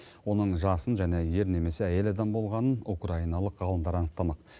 оның жасын және ер немесе әйел адам болғанын украиналық ғалымдар анықтамақ